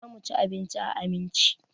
Za mu ci abinci a Aminci.